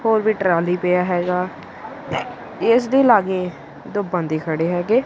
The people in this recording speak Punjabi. ਹੋਰ ਵੀ ਟਰਾਲੀ ਪਿਆ ਹੈਗਾ ਇਸ ਦੇ ਲਾਗੇ ਦੋ ਬੰਦੇ ਖੜੇ ਹੈਗੇ।